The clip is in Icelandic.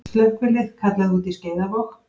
Slökkvilið kallað út í Skeiðarvog